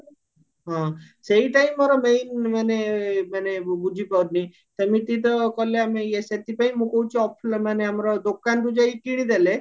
ହଁ ସେଇଟା ହିଁ ମୋର ମାନେ ମାନେ ମୁଁ ବୁଝି ପାରୁନି ସେମିତି ତ କଲେ ଆମେ ଇଏ ସେଥିପାଇଁ ମୁଁ କହୁଚି offline ମାନେ ଆମର ଦୋକାନରୁ ଯାଇକି କିଣିଦେଲେ